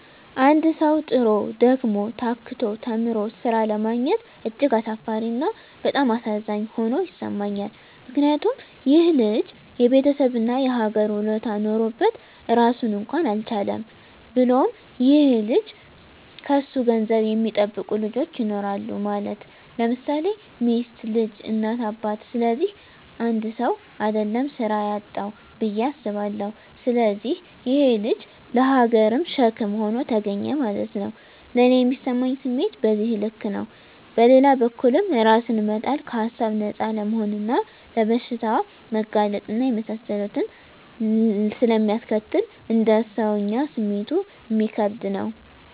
አንድ ሠዉ, ጥሮ: ደክሞ :ታክቶ ተምሮ ስራ አለማግኘት እጅግ አሳፋሪ እና በጣም አሳዛኝ ሆኖ ይሠማኛል ምክንያቱም :ይሄ ልጅ የቤተሠብ እና የሀገር ውለታ ኖሮበት ራሱን እንኳን አልቻለም። ብሎም ይሄ ልጅ ከሱ ገንዘብ የሚጠብቁ ልጆች ይኖራሉ ማለት _ለምሳሌ ሚስት: ልጅ: እናት :አባት ስለዚህ 1ሰው: አደለም ስራ ያጣዉ ብየ አስባለሁ። ስለዚህ ይሄ_ ልጅ ለሀገርም ሸክም ሆኖ ተገኘ ማለት ነዉ። ለኔ ሚሰማኝ ስሜት በዚህ ልክ ነው። በሌላ በኩልም እራስን መጣል ከሀሳብ ነፃ አለመሆንና ለበሽታ መጋለጥ እና የመሳሰሉትን ስለሚያስከትል: እንደ ሰወኛ ስሜቱ እሚከብድ ነው